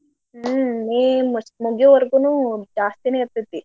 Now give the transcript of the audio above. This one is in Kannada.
ಹ್ಮ್ May ಮತ್ ಮುಗ್ಯೋವರ್ಗೂನೂ ಜಾಸ್ತಿನೇ ಇರ್ತತಿ.